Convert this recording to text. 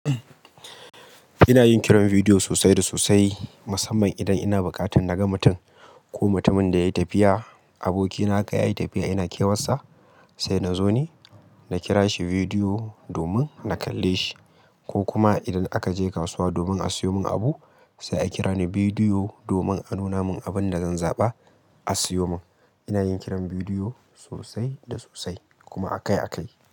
Ina yin kiran bidiyo sosai da sosai, musamman idan ina buƙatar na ga mutum ko mutumin da yayi tafiya. Abokina ka yayi tafiya ina kewar sa, sai na zo ni, na kira shi bidiyo domin na kalle shi. Ko kuma idan aka je kasuwa domin a sayo min abu, sai a kira ni bidiyo domin a nuna min abin da zan zaɓa a sayo min. Ina yin kiran bidiyo sosai da sosai kuma akai akai.